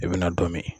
I bɛna dɔ min